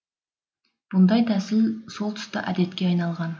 бұндай тәсіл сол тұста әдетке айналған